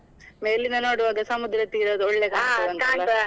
ಮೇಲಿಂದ ನೋಡುವಾಗ ಸಮುದ್ರ ತೀರದ್ದು ಒಳ್ಳೆ .